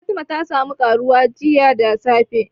Fatima ta sa mu ƙaruwa jiya da safe